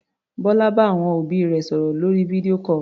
Bọ́lá bá àwọn òbí rẹ̀ sọ̀rò lórí video call.